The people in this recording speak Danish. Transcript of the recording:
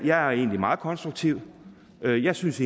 jeg er egentlig meget konstruktiv og jeg synes